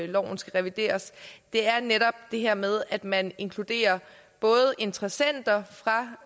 loven skal revideres er netop det her med at man inkluderer både interessenter fra